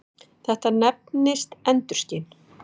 Þetta nefnist endurskin.